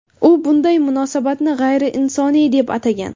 U bunday munosabatni g‘ayriinsoniy deb atagan.